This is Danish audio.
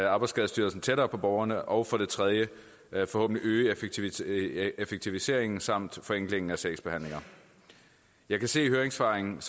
arbejdsskadestyrelsen tættere på borgerne og for det tredje forhåbentlig øge effektiviseringen effektiviseringen samt forenklingen af sagsbehandlingen jeg kan se i høringssvarene